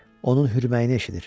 Onun hürməyini eşidir.